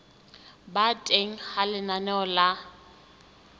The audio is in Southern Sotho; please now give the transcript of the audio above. ba teng ha lenaneo la